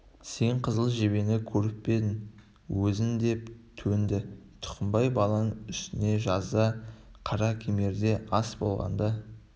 сен қызыл жебені көріп пе едің өзің деп төнді тұқымбай баланың үстіне жазда қаракемерде ас болғанда